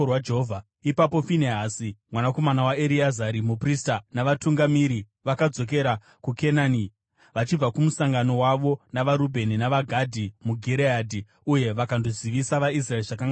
Ipapo Finehasi, mwanakomana waEreazari muprista, navatungamiri vakadzokera kuKenani, vachibva kumusangano wavo navaRubheni navaGadhi muGireadhi uye vakandozivisa vaIsraeri zvakanga zvaitika.